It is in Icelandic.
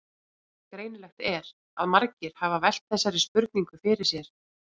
Greinilegt er að margir hafa velt þessari spurningu fyrir sér.